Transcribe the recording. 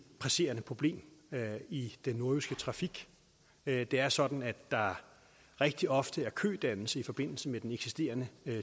presserende problem i den nordjyske trafik det er sådan at der rigtig ofte er kødannelse i forbindelse med den eksisterende